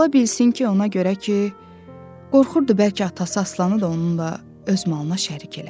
Ola bilsin ki, ona görə ki, qorxurdu bəlkə atası Aslanı da onunla öz malına şərik elədi.